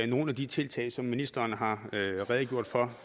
nogle af de tiltag som ministeren har redegjort for